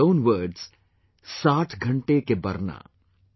in their own words 'Saath ghante ke Barna'